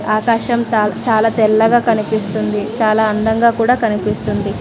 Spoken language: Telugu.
ఆకాశం తా చాలా తెల్లగా కనిపిస్తుంది. చాలా అందంగా కూడా కనిపిస్తుంది.